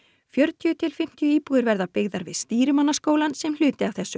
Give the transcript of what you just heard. fjörutíu til fimmtíu íbúðir verða byggðar við Stýrimannaskólann sem hluti af þessu